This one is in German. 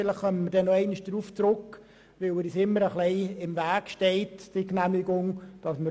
Vielleicht kommen wir einmal auf diesen Entscheid zurück, weil uns diese Genehmigung immer ein wenig im Weg steht.